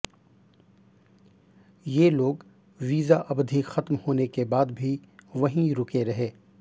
ये लोग वीजा अवधि खत्म होने के बाद भी वहीं रुके रहे